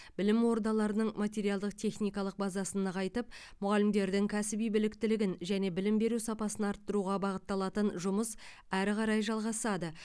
білім ордаларының материалдық техникалық базасын нығайтып мұғалімдердің кәсіби біліктілігін және білім беру сапасын арттыруға бағытталатын жұмыс әрі қарай жалғасады